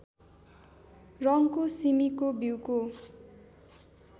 रङ्गको सिमीको बिउको